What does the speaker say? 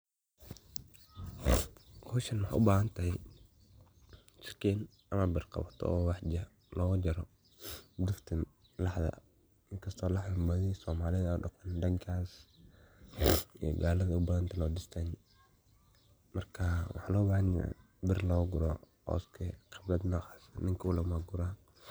howshan waxay ubahantahay sakiin ama bir qabad oo wax loga jaaro duftan laxda, inkasto laxdaa baadi somalida an dhaqaano dhankaas ay galada ubadantahay, north eastern marka waxaa loo bahanya bir loga guro oo iska nocaas eh, ninko le ba guraa